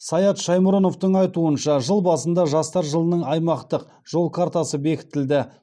саят шаймұрыновтың айтуынша жыл басында жастар жылының аймақтық жол картасы бекітілді